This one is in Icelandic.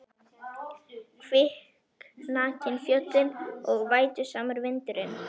Kviknakin fjöllin og vætusamur vindur- inn.